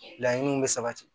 Laɲiniw bɛ sabati